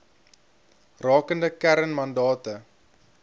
rakende kern mandate